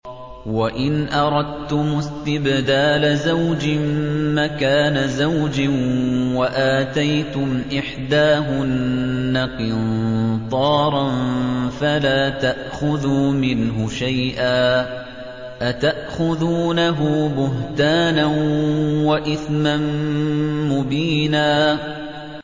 وَإِنْ أَرَدتُّمُ اسْتِبْدَالَ زَوْجٍ مَّكَانَ زَوْجٍ وَآتَيْتُمْ إِحْدَاهُنَّ قِنطَارًا فَلَا تَأْخُذُوا مِنْهُ شَيْئًا ۚ أَتَأْخُذُونَهُ بُهْتَانًا وَإِثْمًا مُّبِينًا